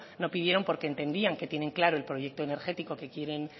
no pidieron porque entendían que tienen claro el proyecto energético que quieren